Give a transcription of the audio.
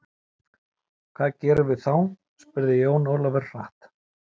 Hvað gerum við þá spurði Jón Ólafur hratt.